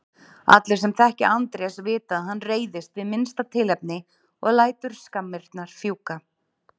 Allir sem þekkja Andrés vita að hann reiðist við minnsta tilefni og lætur skammirnar fjúka.